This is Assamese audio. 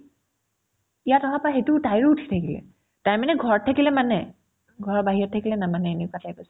ইয়াত অহাৰ পৰা সেইটো তাইৰো উঠিয়ে গেল তাই মানে ঘৰত থাকিলে মানে ঘৰৰ বাহিৰত থাকিলে নামানে এনেকুৱা type আছিলে